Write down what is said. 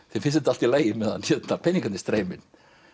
þeim finnst þetta allt í lagi meðan peningarnir streyma inn